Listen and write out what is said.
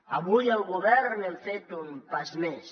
avui el govern hem fet un pas més